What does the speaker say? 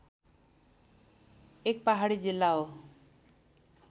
एक पहाडी जिल्ला हो